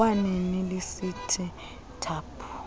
kwanini lisithi thaphu